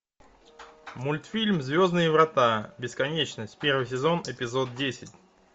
мультфильм звездные врата бесконечность первый сезон эпизод десять